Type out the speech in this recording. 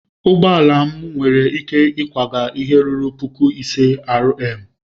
Ụgbọ ala m nwere ike ịkwaga ihe ruru puku ise R/m.